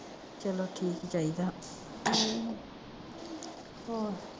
ਚਲੋ ਠੀਕ ਈ ਚਾਹੀਦਾ ਹੋਰ